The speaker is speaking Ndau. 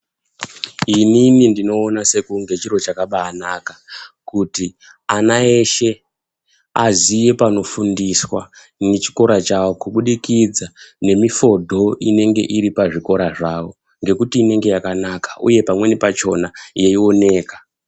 Inini ndinoone sekunge chiro chakabaanaka kuti ana eshe aziye panofundiswa ngechikora chawo kubudikidza nemifodho inenge iri pazvikora zvavo, ngekuti inenge yakanaka uye pamweni pachona yeioneka.